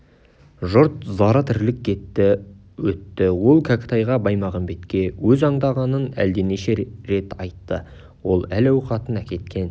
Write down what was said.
жұрт зары тірлік кетті өтті ол кәкітайға баймағамбетке өз аңдағанын әлденеше рет айтты ол әл-ауқатын әкеткен